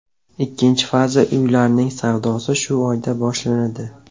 Ikkinchi faza uylarning savdosi shu oyda boshlanadi.